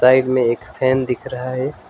Side में एक fan दिख रहा है।